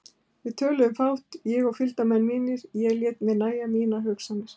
Við töluðum fátt, ég og fylgdarmenn mínir, ég lét mér nægja mínar hugsanir.